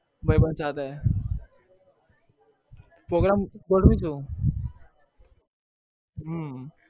ભાઈબંધ સાથે program ગોઠવીશું હમ